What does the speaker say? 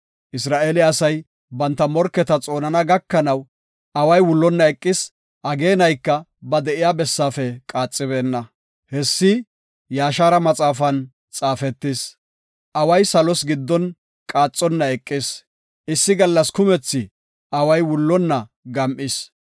Isra7eele asay banta morketa xoonana gakanaw, away wullonna eqis; ageenayka ba de7iya bessaafe qaaxibeenna. Hessi Yaashara maxaafan xaafetis. Away salos giddon qaaxonna eqis; issi gallas kumethi away wullonna gam7is.